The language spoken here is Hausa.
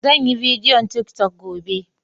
Sanyi bidiyon tiktok gobe.